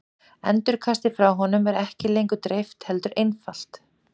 endurkastið frá honum er ekki lengur dreift heldur einfalt